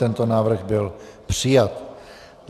Tento návrh byl přijat.